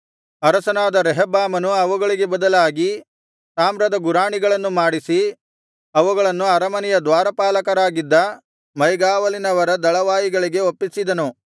ಅರಸನಾದ ರೆಹಬ್ಬಾಮನು ಅವುಗಳಿಗೆ ಬದಲಾಗಿ ತಾಮ್ರದ ಗುರಾಣಿಗಳನ್ನು ಮಾಡಿಸಿ ಅವುಗಳನ್ನು ಅರಮನೆಯ ದ್ವಾರಪಾಲಕರಾಗಿದ್ದ ಮೈಗಾವಲಿನವರ ದಳವಾಯಿಗಳಿಗೆ ಒಪ್ಪಿಸಿದನು